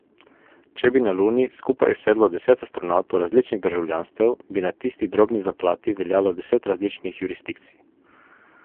Če bi na Luni skupaj sedlo deset astronavtov različnih državljanstev, bi na tisti drobni zaplati veljalo deset različnih jurisdikcij.